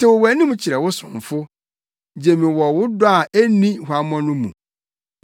Tew wʼanim kyerɛ wo somfo; gye me wɔ wo dɔ a enni huammɔ no mu.